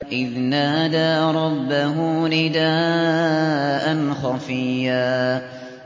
إِذْ نَادَىٰ رَبَّهُ نِدَاءً خَفِيًّا